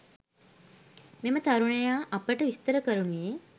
මෙම තරුණයා අපට විස්තර කරනුයේ